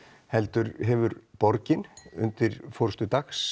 heldur hefur borgin undir forystu Dags